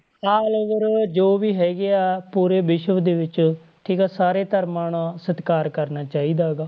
Allover ਜੋ ਵੀ ਹੈਗੇ ਆ ਪੂਰੇ ਵਿਸ਼ਵ ਦੇ ਵਿੱਚ ਠੀਕ ਹੈ ਸਾਰੇ ਧਰਮਾਂ ਦਾ ਸਤਿਕਾਰ ਕਰਨਾ ਚਾਹੀਦਾ ਗਾ